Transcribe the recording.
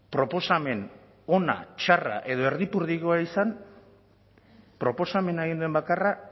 proposamen ona txarra edo erdipurdikoa izan proposamena egin duen bakarra